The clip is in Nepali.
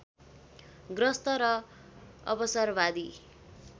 ग्रस्त र अवसरवादी